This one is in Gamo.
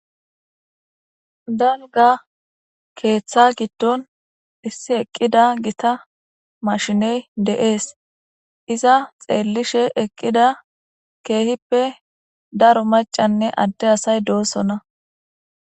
danga keeththa giddon issi eqqida gita mashiney de7ees iza xeellishe eqqida keehippe daro macanne adde asay doossonna